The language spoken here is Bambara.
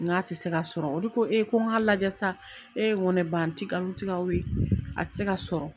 N k'a tɛ se ka sɔrɔ olu ko ko n k'a lajɛ sa n ko ne ba n ti nkalon tigɛ aw ye a tɛ se ka sɔrɔ.